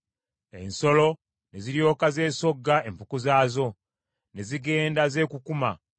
Ensolo ne ziryoka zessogga empuku zaazo, ne zigenda zeekukuma.